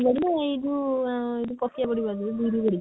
Body ନା ଏଇ ଯଉ ଆ ଏଇ ଯଉ ପକେଇବା ବଡି ଗୁଡା ଯଉ ବିରି ବଡି?